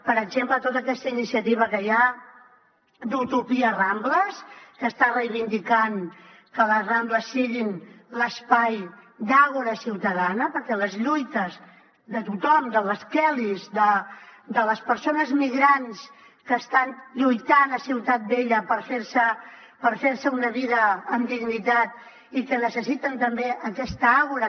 per exemple tota aquesta iniciativa que hi ha d’utopia rambles que està reivindicant que les rambles siguin l’espai d’àgora ciutadana perquè les lluites de tothom de les kellys de les persones migrants que estan lluitant a ciutat vella per fer se una vida amb dignitat i que necessiten també aquesta àgora